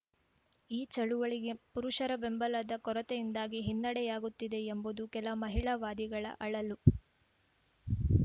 ಈ ಚಳುವಳಿಗೆ ಪುರುಷರ ಬೆಂಬಲದ ಕೊರತೆಯಿಂದಾಗಿ ಹಿನ್ನಡೆಯಾಗುತ್ತಿದೆ ಎಂಬುದು ಕೆಲ ಮಹಿಳಾವಾದಿಗಳ ಅಳಲು